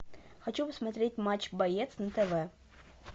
хочу посмотреть матч боец на тв